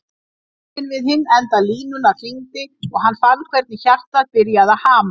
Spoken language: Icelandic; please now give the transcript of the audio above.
Síminn við hinn enda línunnar hringdi og hann fann hvernig hjartað byrjaði að hamast.